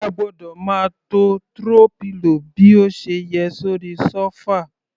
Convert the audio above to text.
A gbọ́dọ̀ máa to throw pillow bí ó ṣe yẹ sórí sofa.